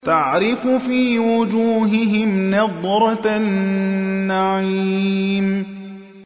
تَعْرِفُ فِي وُجُوهِهِمْ نَضْرَةَ النَّعِيمِ